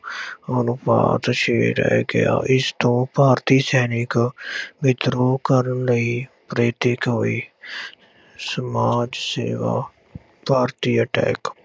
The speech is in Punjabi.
ਅਨੁਪਾਤ ਛੇ ਰਹਿ ਗਿਆ ਇਸ ਤੋਂ ਭਾਰਤੀ ਸੈਨਿਕ ਵਿਦਰੋਹ ਕਰਨ ਲਈ ਪ੍ਰੇਰਿਤ ਹੋਏ ਸਮਾਜ ਸੇਵਾ ਭਾਰਤੀ attack